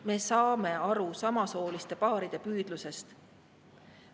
Me saame aru samasooliste paaride püüdlusest.